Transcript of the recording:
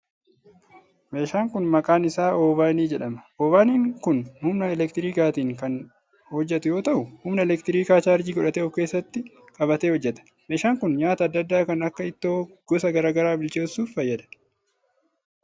Meeshaan kun maqaan isaa oovaanii jedhama. Oovaaniin kun humna elektirikaatin kan hojjatu yoo ta'u humna elektirikaa chaarjii godhatee of keessatti qabatee hojjata. Meeshaan kun, nyaata adda addaa kan akka ittoo gosa garaa garaa bilcheessuuf oola.